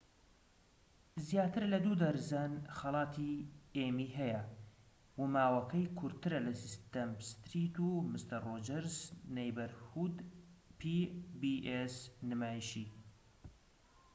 نمایشی pbs زیاتر لە دوو دەرزەن خەڵاتی ئێمی هەیە و ماوەکەی کورتترە لە سیسیم ستریت و مستەر ڕۆجەرس نەیبەرهود